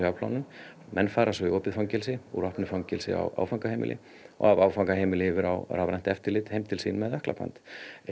afplánun menn fara svo í opið fangelsi úr opnu fangelsi á áfangaheimili og af áfangaheimili yfir á rafrænt eftirlit heim til sín með ökklaband